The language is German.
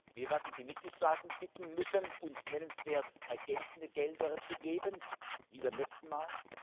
Wir werden die Mitgliedstaaten bitten müssen, uns nennenswert ergänzende Gelder zu geben wie beim letzten Mal.